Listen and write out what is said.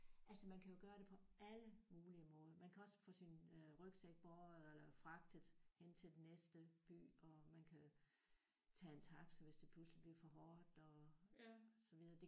Altså man kan jo gøre det på alle mulige måder. Man kan også få sin rygsæk båret eller fragtet hen til den næste by og man kan tage en taxa hvis det pludselig bliver for hårdt og så videre